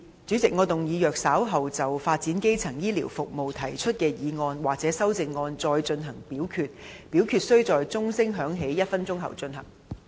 主席，我動議若稍後就"發展基層醫療服務"所提出的議案或修正案再進行點名表決，表決須在鐘聲響起1分鐘後進行。